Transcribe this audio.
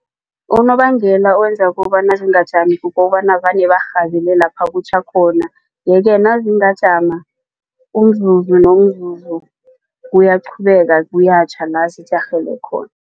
Unobangela owenza kobana zingajami kukobana vane barhabele lapha kutjha khona yeke nazingakhamba umzuzu nomzuzu kuyaqhubeka kuyatjha la zijarhele khona.